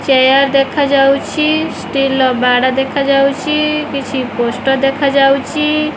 Chair ଦେଖାଯାଉଛି steel ର ବାଡ଼ ଦେଖାଯାଉଚି କିଛି ପୋଷ୍ଟ ଦେଖାଯାଉଚି।